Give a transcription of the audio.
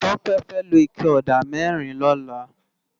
Tope fè ló iké òdá mèrín lòlá